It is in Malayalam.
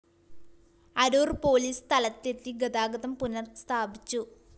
അരൂര്‍ പോലീസ് സ്ഥലത്തെത്തി ഗതാഗതം പുനഃസ്ഥാപിച്ചു